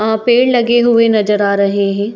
अह पेड़ लगे हुए नज़र आ रहे हैं |